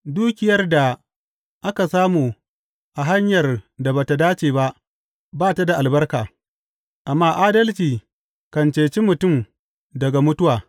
Dukiyar da aka samu a hanyar da ba tă dace ba, ba ta da albarka, amma adalci kan ceci mutum daga mutuwa.